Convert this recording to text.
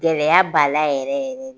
Gɛlɛya b'ala yɛrɛ yɛrɛ de